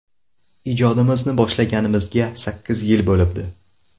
Ijodimizni boshlaganimizga sakkiz yil bo‘libdi.